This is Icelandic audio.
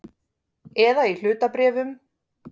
Eða í hlutabréfum.